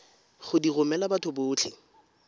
go di romela batho botlhe